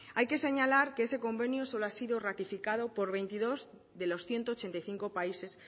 hay que señalar que ese convenio solo ha sido ratificado por veintidós de los ciento ochenta y cinco países